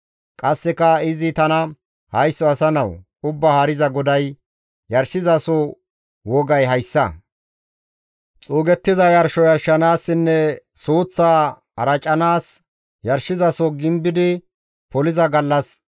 Qasseka izi tana, «Haysso asa nawu, Ubbaa Haariza GODAY, ‹Yarshizaso wogay hayssa. Xuuggiza yarsho yarshanaassinne suuththa aracanaas, yarshizaso gimbidi poliza gallas,